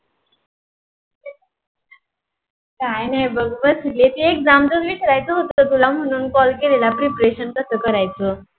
काही नाही बघ बस एक exam होते विचारायचा होते ग तुला म्हणून call केलेला prepretion कसं करायच?